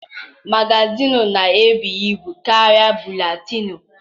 Magazịịnụ na-ebu ibu karịa buletịịnụ.